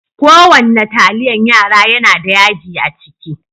Ko wanna taliyan yara yana da yaji a ciki.